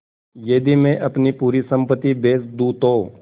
यदि मैं अपनी पूरी सम्पति बेच दूँ तो